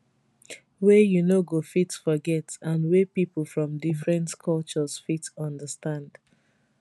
wey you no go fit forget and wey pipo from different cultures fit understand